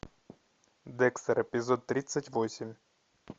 декстер эпизод тридцать восемь